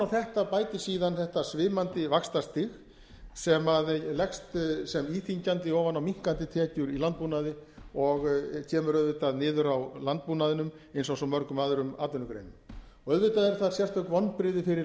þetta bætist síðan þetta svimandi vaxtastig sem leggst sem íþyngjandi ofan á minnkandi tekjur í landbúnaði og kemur auðvitað áður á landbúnaðinum eins og svo mörgum öðrum atvinnugreinum auðvitað eru það sérstök vonbrigði fyrir